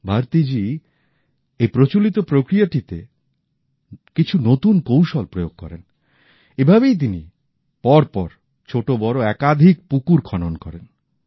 ভারতী জি এই প্রচলিত প্রক্রিয়াটিতে কিছু নতুন কৌশল প্রয়োগ করেন এভাবেই তিনি পরপর ছোটবড় একাধিক পুকুর খনন করেন